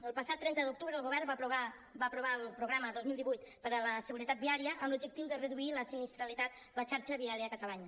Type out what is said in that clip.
el passat trenta d’octubre el govern va aprovar el programa dos mil divuit per a la seguretat viària amb l’objectiu de reduir la sinistralitat a la xarxa viària catalana